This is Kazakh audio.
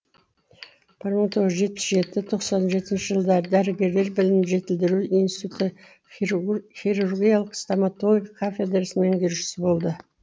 бір мың тоғыз жүз жетпіс жеті тоқсан жетінші жылдары дәрігерлер білімін жетілдіру институты хирургиялық стамотология кафедрасының меңгерушісі болды